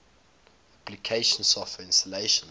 application software installation